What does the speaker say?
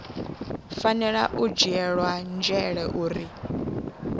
fanela u dzhielwa nzhele uri